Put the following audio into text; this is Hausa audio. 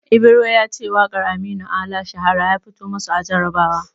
Ibro ya ce waƙar Aminu Ala "Shahara" ya fito masu a jarabawa.